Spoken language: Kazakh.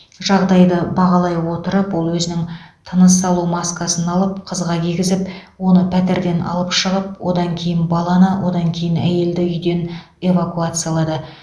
жағдайды бағалай отырып ол өзінің тыныс алу маскасын алып қызға кигізіп оны пәтерден алып шығып одан кейін баланы одан кейін әйелді үйден эвакуациялады